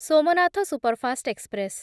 Somnath superfast express